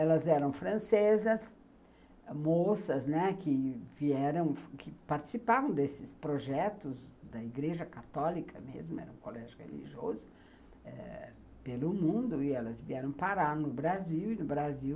Elas eram francesas, moças, né, que vieram, que participavam desses projetos da igreja católica mesmo, era um colégio religioso, pelo mundo, e elas vieram parar no Brasil, e no Brasil,